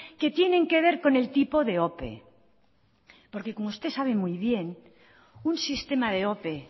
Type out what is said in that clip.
que tienen que ver con el tipo de ope porque como usted sabe muy bien un sistema de ope